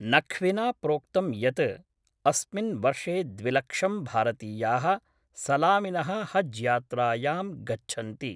नख्विन प्रोक्तं यत् अस्मिन् वर्षे द्विलक्षं भारतीयाः सलामिनः हज्‌यात्रायां गच्छन्ति।